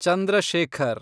Chandra Shekhar